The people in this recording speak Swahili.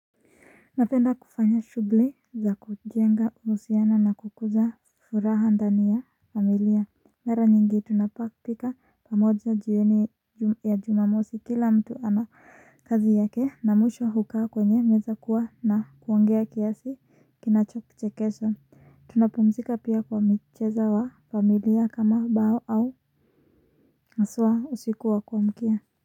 Napenda kufanya shughli za kujenga uhusiano na kukuza furaha ndani ya familia. Mara nyingi tunapopika pamoja jioni ya jumamosi kila mtu ana kazi yake na mwisho hukaa kwenye meza kuwa na kuongea kiasi kinachochekesha. Tunapumzika pia kwa mcheza wa familia kama bao au nasua usiku wa kuamkia.